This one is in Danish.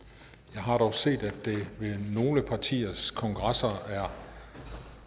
jeg har dog set at der ved nogle partiers kongresser er